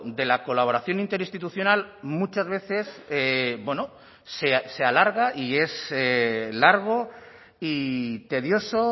de la colaboración interinstitucional muchas veces bueno se alarga y es largo y tedioso